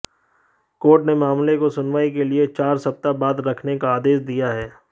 court ने मामले को सुनवाई के लिए चार सप्ताह बाद रखने का आदेश दिया है